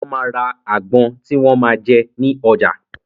Wón máa ra àgbon tí wọn máa jẹ ní ọjà.